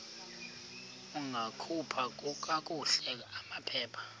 ungakhupha kakuhle amaphepha